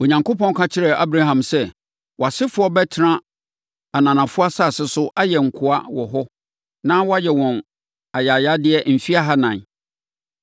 Onyankopɔn ka kyerɛɛ Abraham sɛ, ‘Wʼasefoɔ bɛtena ananafoɔ asase so ayɛ nkoa wɔ hɔ na wɔayɛ wɔn ayayadeɛ mfeɛ ahanan.